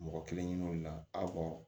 Mɔgɔ kelen ɲiniŋali la